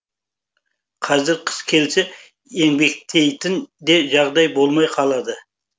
қазір қыс келсе еңбектейтін де жағдай болмай қалады